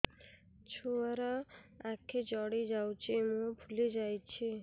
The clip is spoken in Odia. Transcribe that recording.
ଛୁଆର ଆଖି ଜଡ଼ି ଯାଉଛି ମୁହଁ ଫୁଲି ଯାଇଛି